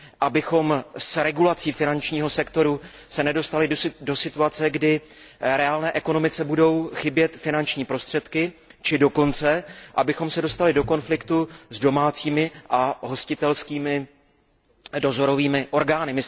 abychom se s regulací finančního sektoru nedostali do situace, kdy reálné ekonomice budou chybět finanční prostředky, či dokonce, abychom se dostali do konfliktu s domácími a hostitelskými dozorovými orgány.